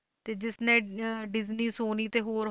ਤੇ ਜਿਸਨੇ ਅਹ ਡਿਜਨੀ ਸੋਨੀ ਤੇ ਹੋਰ